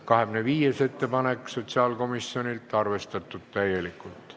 25. muudatusettepanek sotsiaalkomisjonilt, arvestatud täielikult.